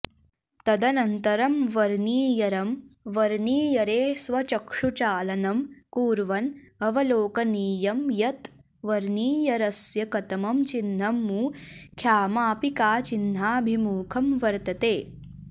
तदनन्तरं वर्नियरं वर्नियरे स्वचक्षुचालनं कुर्वन् अवलोकनीयं यत् वर्नियरस्य कतमं चिन्हं मुख्यमापिकाचिन्हाभिमुखं वर्तते